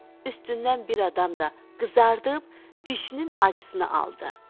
Üstündən bir adam da qızardıb dişinin acısına aldı.